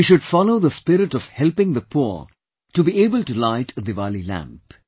We should follow the spirit of helping the poor to be able to light a Diwali lamp